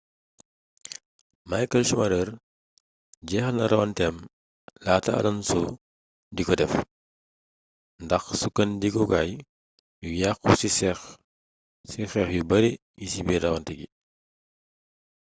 michael schumacher jeexal na rawanteem laata alonso di ko def ndax sukkandikukaay yu yàkku ci xeex yu bare yi ci biir rawante gi